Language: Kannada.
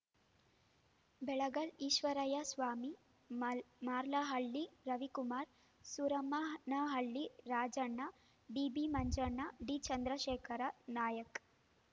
ಬೆಳಗಲ್‌ ಈಶ್ವರಯ್ಯ ಸ್ವಾಮಿ ಮಲ್ ಮರ್ಲಹಳ್ಳಿ ರವಿಕುಮಾರ್‌ ಸೂರಮ್ಮನಹಳ್ಳಿ ರಾಜಣ್ಣ ಬಿಬಿಮಂಜಣ್ಣ ಡಿಚಂದ್ರಶೇಖರ ನಾಯ್ಕ